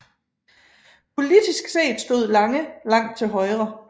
Politisk set stod Lange langt til højre